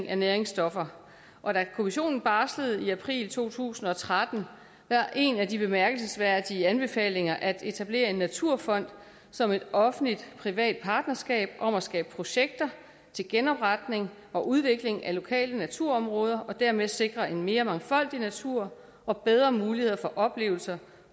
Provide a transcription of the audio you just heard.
af næringsstoffer og da kommissionen barslede i april to tusind og tretten var en af de bemærkelsesværdige anbefalinger at etablere en naturfond som et offentlig privat partnerskab om at skabe projekter til genopretning og udvikling af lokale naturområder og dermed sikre en mere mangfoldig natur og bedre muligheder for oplevelser